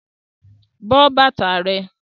But bàtà rẹ!